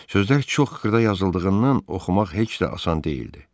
Sözlər çox xırda yazıldığından oxumaq heç də asan deyildi.